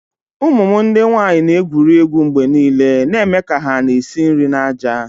Ụmụ m ndị nwanyị na-egwuri egwu mgbe niile na-eme ka hà na-esi nri na ájá